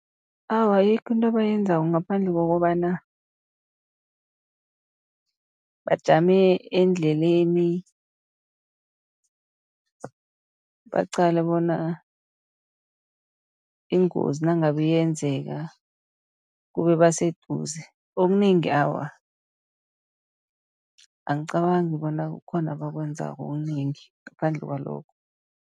Awa, ayikho into abayenzako ngaphandle kokobana, bajame endleleni baqale bona ingozi nangabe iyenzeka kube baseduze. Okunengi awa angicabangi bona kukhona abakwenzako okunengi, ngaphandle kwalokho.